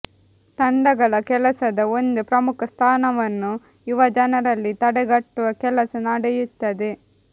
ತಂಡಗಳ ಕೆಲಸದ ಒಂದು ಪ್ರಮುಖ ಸ್ಥಾನವನ್ನು ಯುವ ಜನರಲ್ಲಿ ತಡೆಗಟ್ಟುವ ಕೆಲಸ ನಡೆಯುತ್ತದೆ